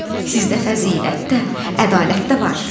Sizdə fəzilət də, ədalət də var.